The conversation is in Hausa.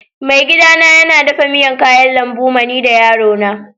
Maigida na yana dafan miyan kayan lambu ma ni da yaro na.